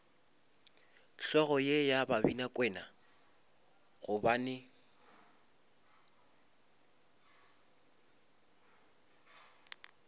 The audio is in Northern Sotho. hlogo ye ya babinakwena gobane